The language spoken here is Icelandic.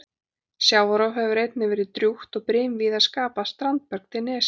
Sjávarrof hefur einnig verið drjúgt og brim víða skapað standberg til nesja.